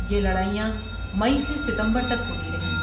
یہ لڑائیاں مئی سے ستمبر تک ہوتی رہیں۔